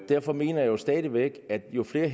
derfor mener jeg stadig væk at jo færre